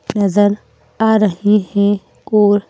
नजर आ रही हैं और--